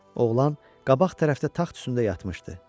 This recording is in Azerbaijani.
Oğlan qabaq tərəfdə taxt üstündə yatmışdı.